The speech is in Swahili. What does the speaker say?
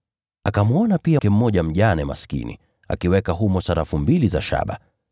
Akamwona pia mjane mmoja maskini akiweka humo sarafu mbili ndogo za shaba.